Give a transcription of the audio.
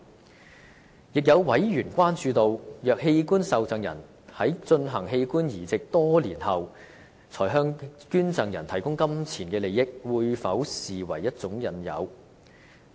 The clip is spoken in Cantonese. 此外，有委員關注，若器官受贈人在進行器官移植多年後，才向捐贈人提供金錢利益，這會否被視為一種引誘。